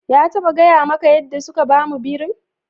Ya taɓa gaya maka yadda suka samu birin?